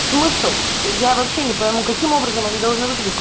смысл я вообще не пойму каким образом они должны выглядеть